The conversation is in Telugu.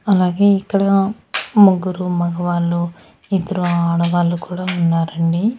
అలాగే ఇక్కడ ముగ్గురు మగవాళ్ళు ఇద్దరు ఆడవాళ్లు కూడా ఉన్నారండి.